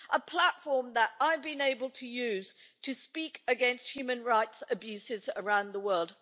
a platform that I've been able to use to speak against human rights abuses around the world.